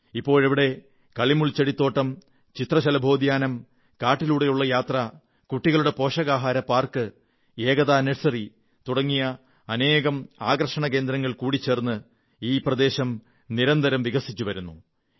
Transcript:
ഇപ്പോഴവിടെ കള്ളിമുൾച്ചെടിത്തോട്ടം ചിത്രശലഭോദ്യാനം കാട്ടിലൂടെയാത്ര കുട്ടികളുടെ പോഷകാഹാര പാർക്ക് ഏകതാ നേഴ്സറി തുടങ്ങിയ അനേക ആകർഷണകേന്ദ്രങ്ങൾ കൂടിച്ചേർന്ന് നിരന്തരം വികസിച്ചുവരുന്നു